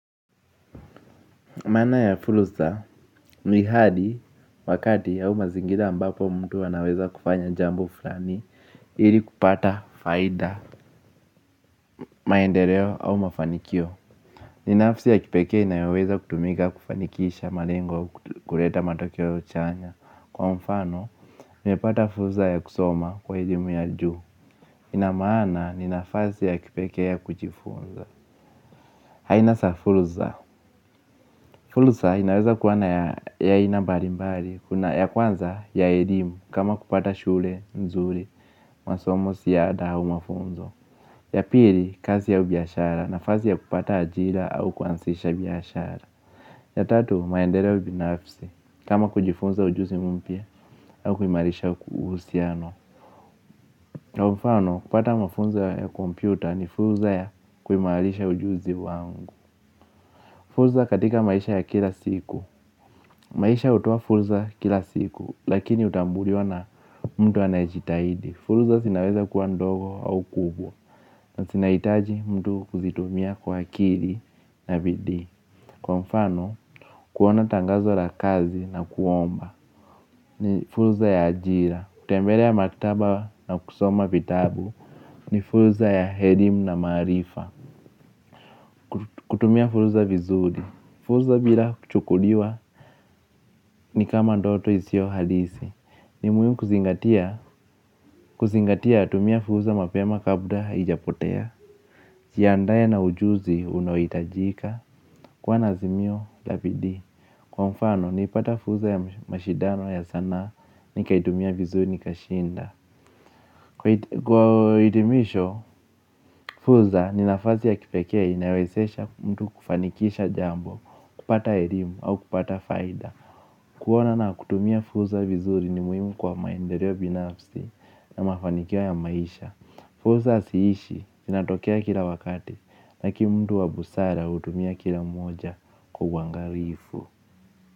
Maana ya fursa ni hali wakati auvmazingira ambapo mtu anaweza kufanya jambo fulani ili kupata faida maendereo au mafanikio. Ni nafsi ya kipekee inayoweza kutumika kufanikisha malengo kureta matokeo chanya. Kwa mfano, nimepata furza ya kusoma kwa elimu ya juu. Ina maana, ni nafasi ya kipekee ya kujifunza. Haina sa fulza, fulza inaweza kuwa na ya aina mbarimbari, ya kwanza ya elimu kama kupata shule nzuri, masomo siada au mafunzo. Ya piri, kazi au biashara nafazi ya kupata ajira au kuansisha biashara. Ya tatu, maendereo binafsi, kama kujifunza ujuzi mpya au kuimarisha uhusiano. Na umfano, kupata mafunzo ya kompyuta ni fulza ya kuimarisha ujuzi wangu. Furuza katika maisha ya kila siku maisha hutoa furza kila siku lakini utaambuliwa na mtu anayejitahidi. Furza sinaweza kuwa ndogo au kubwa na sinaitaji mtu kuzitumia kwa akiri na bidii. Kwa mfano kuona tangazo la kazi na kuomba ni furza ya ajira. Kutembelea maktaba na kusoma vitabu ni furza ya herim na maarifa kutumia fursa vizuri fursa bila kuchukuliwa ni kama ndoto isiyohalisi. Ni muhimu kuzingatia tumia furza mapema kabla hijapotea jiandae na ujuzi unaoitajika kuwa na azimio la bidii. Kwa mfano niipata furza ya mashidano ya sanaa nikaitumia vizuri nikashinda. Kwa hitimisho furza ni nafasi ya kipekee inayowezesha mtu kufanikisha jambo. Kupata erimu au kupata faida kuona na kutumia furza vizuri ni muhimu kwa maendereo binafsi na mafanikio ya maisha. Furza siishi, sinatokea kila wakati. Laki mtu wa busara utumia kila moja kwa uangarifu.